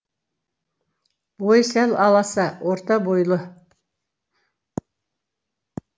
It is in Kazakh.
бойы сәл аласа орта бойлы